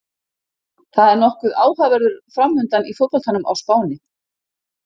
Það er nokkuð áhugaverður framundan í fótboltanum á Spáni.